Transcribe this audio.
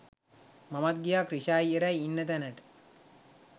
මමත් ගියා ක්‍රිෂායි එරයි ඉන්න තැනට